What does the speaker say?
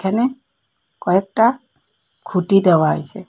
এখানে কয়েকটা খুঁটি দেওয়া আসে।